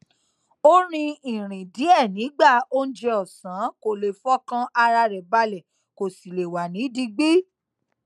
ó rìn ìrìn díè nígbà oúnjẹ òsán kó lè fọkàn ara rè balè kó sì lè wà ní digbí